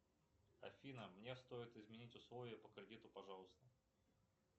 афина мне стоит изменить условия по кредиту пожалуйста